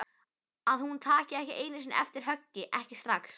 Að hún taki ekki einu sinni eftir höggi, ekki strax.